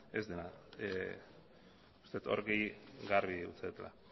ez dela uste dut hori garbi utzi dudala